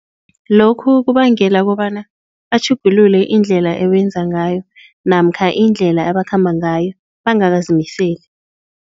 Lokhu kubangela kobana batjhugululwe indlela abenza ngayo namkha indlela ebakhamba ngayo bangakazimiseli.